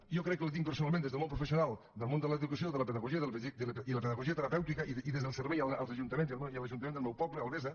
jo crec que la tinc personalment des del món professional del món de l’educació de la pedagogia i de la pedagogia terapèutica i des del servei als ajuntaments i a l’ajuntament del meu poble albesa